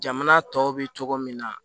Jamana tɔw bɛ cogo min na